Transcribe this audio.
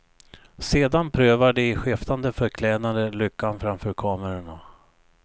Sedan prövar de i skiftande förklädnader lyckan framför kamerorna.